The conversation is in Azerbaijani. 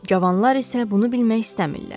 Cavanlar isə bunu bilmək istəmirlər.